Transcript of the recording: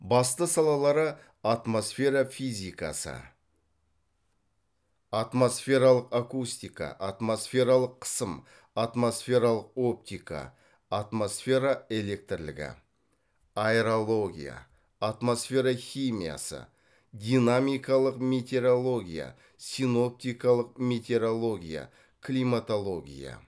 басты салалары атмосфера физикасы атмосфералық акустика атмосфералық қысым атмосфералық оптика атмосфера электрлігі аэрология атмосфера химиясы динамикалық метеорология синоптикалық метеорология климатология